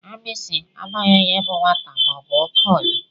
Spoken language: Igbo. Agbisi amaghị onye bú nwata ma ọ bu okenye.